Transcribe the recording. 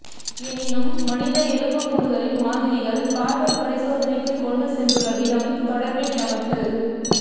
எனினும் மனித எலும்புக்கூடுகளின் மாதிரிகள் கார்பன் பரிசோதனைக்கு கொண்டு சென்றுள்ள விதம் தொடர்பில் எமக்கு